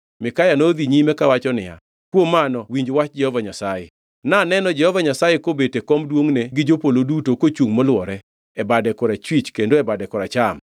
Mikaya nodhi nyime kawacho niya, “Kuom mano winj wach Jehova Nyasaye: Naneno Jehova Nyasaye kobet e kom duongʼne gi jopolo duto kochungʼ molwore, e bade korachwich kendo e bade koracham.